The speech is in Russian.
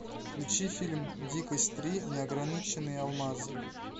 включи фильм дикость три неограниченные алмазы